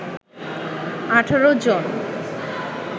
১৮ জন